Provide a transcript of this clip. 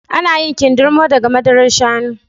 Ana yin kindirmo daga madarar shanu